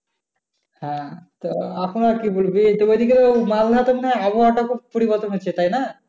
হ্যাঁ তো আবহাওয়ার কি মনে হয় আবহাওয়া টা খুব পরিবর্তন হচ্ছে তাই না?